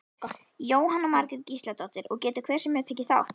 Jóhanna Margrét Gísladóttir: Og getur hver sem er tekið þátt?